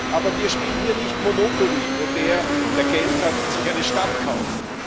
Aber wir spielen hier nicht Monopoly, wo der, der Geld hat, sich eine Stadt kauft.